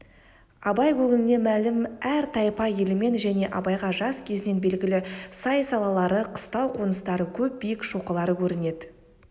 абай көңіліне мәлім әр тайпа елімен және абайға жас кезінен белгілі сай-салалары қыстау қоныстары көп биік шоқылары көрінеді